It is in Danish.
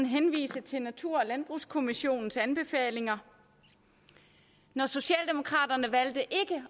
henvise til natur og landbrugskommissionens anbefalinger når socialdemokraterne valgte ikke